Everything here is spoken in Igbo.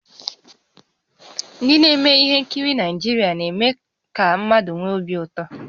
Ndị na-eme ihe nkiri Naịjirịa na-eme ka mmadụ nwee obi ụtọ